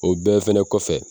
O bɛɛ fɛnɛ kɔfɛ